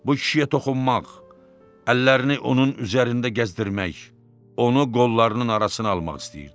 Bu kişiyə toxunmaq, əllərini onun üzərində gəzdirmək, onu qollarının arasına almaq istəyirdi.